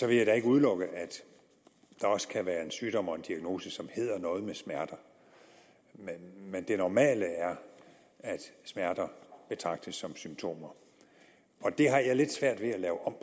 jeg da ikke udelukke at der også kan være en sygdom og en diagnose som hedder noget med smerter men det normale er at smerter betragtes som symptomer det har jeg lidt svært ved at lave om